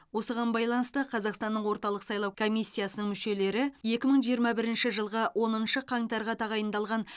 осыған байланысты қазақстанның орталық сайлау комиссиясының мүшелері екі мың жиырма бірінші жылғы оныншы қаңтарға тағайындалған